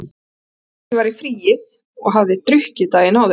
Hann vissi að ég var í fríi og hafði drukkið daginn áður.